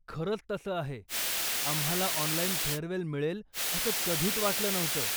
खरंच तसं आहे, आम्हाला ऑनलाइन फेअरवेल मिळेल असं कधीच वाटलं नव्हतं.